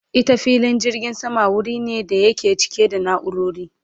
Ita filin jirgin sama wuri ne da yake cike da naurori